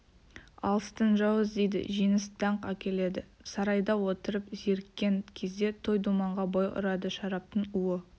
алыстан жау іздейді жеңіс даңқ әкеледі сарайда отырып зеріккен кезде той думанға бой ұрады шараптың уы